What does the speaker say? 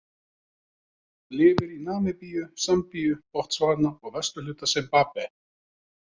Lifir í Namibíu, Sambíu, Botsvana og vesturhluta Simbabve.